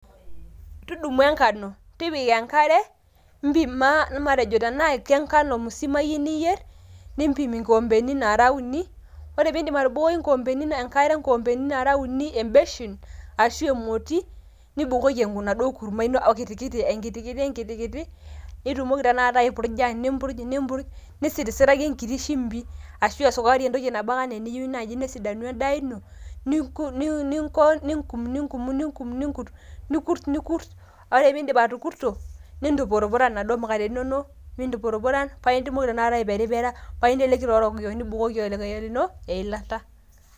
Tudumu enkano tipika enkare, impima matejo tenaa ke nkano musima iyieu niyier nimpim inkikompeni naara uni. Ore pee idip atubukoki nkikompeni enkare, nkikompeni naara uni e beshen arashu e moti nibukoki enaduo kurma ino enkiti kiti enkiti kiti, kiti kiti. Nitumoki tena kata aipurja nipurj, nipurj nisirisiraki enkiti shimbi ashu esukari entoki nabaa ana niyieu nesidanu en`daa ino. Ningo nininkum, ninkum, ninkum, nikurt nikurt ore ake pee idip atukurto nintupurupuran inaduo mukateni inonok nintupurupuran paa itumoki tenakata aiperipera paa inteleki taa orokiyok nibukoki orokiyok lino eilata.